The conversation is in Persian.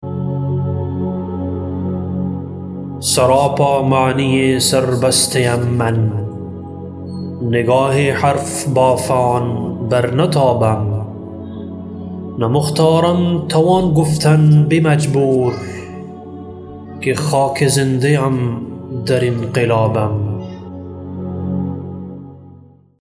سراپا معنی سر بسته ام من نگاه حرف بافان برنتابم نه مختارم توان گفتن به مجبور که خاک زنده ام در انقلابم